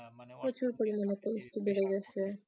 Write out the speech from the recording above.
প্রচুর পরিমাণে বেড়ে গেছে।